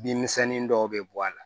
Bin misɛnnin dɔw bɛ bɔ a la